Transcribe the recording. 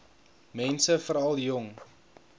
mense veral jong